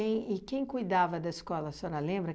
e quem cuidava da escola, a senhora lembra?